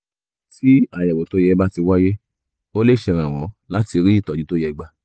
tí àyẹ̀wò tó yẹ bá ti wáyé ó lè ṣèrànwọ́ láti rí ìtọ́jú tó yẹ gbà